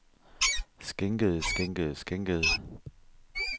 skænkede skænkede skænkede